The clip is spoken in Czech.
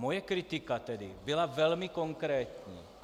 Moje kritika tedy byla velmi konkrétní.